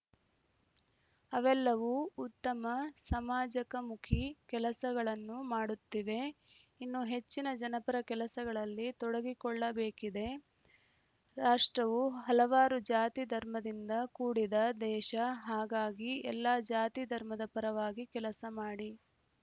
ಅವೆಲ್ಲವು ಉತಮ ಸಮಾಜಕಮುಖಿ ಕೆಲಸಗಳನ್ನು ಮಾಡುತ್ತಿವೆ ಇನ್ನು ಹೆಚ್ಚಿನ ಜನಪರ ಕೆಲಸಗಳಲ್ಲಿ ತೊಡಗಿಕೊಳ್ಳಬೇಕಿದೆ ರಾಷ್ಟ್ರವು ಹಲವಾರು ಜಾತಿ ಧರ್ಮದಿಂದ ಕೂಡಿದ ದೇಶ ಹಾಗಾಗಿ ಎಲ್ಲಾ ಜಾತಿ ಧರ್ಮದ ಪರವಾಗಿ ಕೆಲಸ ಮಾಡಿ